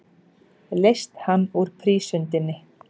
Leyst hann úr prísundinni.